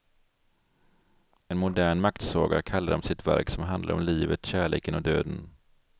En modern maktsaga kallar de sitt verk som handlar om livet, kärleken och döden.